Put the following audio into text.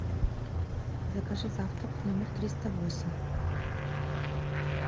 закажи завтрак в номер триста восемь